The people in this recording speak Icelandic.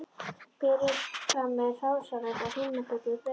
Berið fram með hrásalati og heimabökuðu brauði.